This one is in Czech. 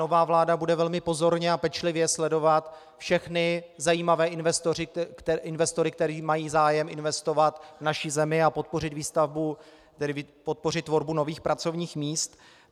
Nová vláda bude velmi pozorně a pečlivě sledovat všechny zajímavé investory, kteří mají zájem investovat v naší zemi a podpořit tvorbu nových pracovních míst.